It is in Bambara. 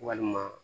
Walima